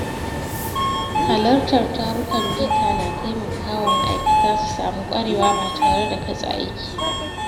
Halartar tarukan bita na taimaka wa ma’aikata su samu ƙwarewa ba tare da katse aiki ba.